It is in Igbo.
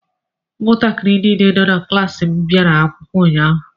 Ụmụntakịrị niile nọ na klaasị m bịara akwụkwọ ụnyaahụ.